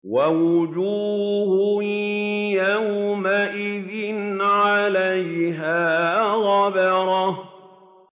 وَوُجُوهٌ يَوْمَئِذٍ عَلَيْهَا غَبَرَةٌ